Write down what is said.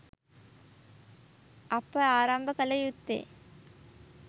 අප ආරම්භ කල යුත්තේ